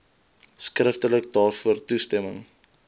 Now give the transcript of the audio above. skriftelik daarvoor toestemming